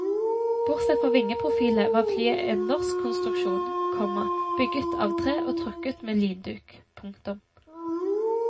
Bortsett fra vingeprofilet var flyet en norsk konstruksjon, komma bygget av tre og trukket med linduk. punktum